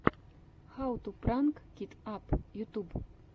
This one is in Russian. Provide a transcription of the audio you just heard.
хау ту пранк кит ап ютюб